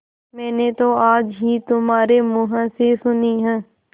मैंने तो आज ही तुम्हारे मुँह से सुनी है